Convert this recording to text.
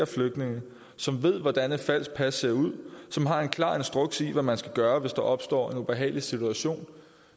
flygtninge som ved hvordan et falsk pas ser ud som har en klar instruks i hvad man skal gøre hvis der opstår en ubehagelig situation